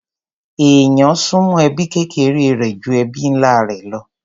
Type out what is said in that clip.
Èèyàn súnmọ́ ẹbí kékeré rẹ̀ ju ẹbí ńlá rẹ̀ lọ.